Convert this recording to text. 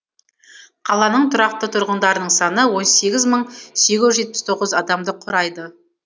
қаланың тұрақты тұрғындарының саны он сегіз мың сегіз жүз жетпіс тоғыз адамды құрайды